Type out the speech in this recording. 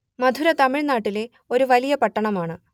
മധുര തമിഴ്നാട്ടിലെ ഒരു വലിയ പട്ടണമാണ്